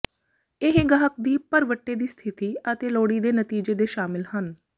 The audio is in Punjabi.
ਇਹ ਗਾਹਕ ਦੀ ਭਰਵੱਟੇ ਦੀ ਸਥਿਤੀ ਅਤੇ ਲੋੜੀਦੇ ਨਤੀਜੇ ਦੇ ਸ਼ਾਮਲ ਹਨ